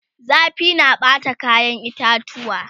zafi na Bata kayan itatuwa